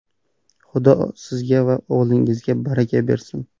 Xudo sizga va o‘g‘lingizga baraka bersin!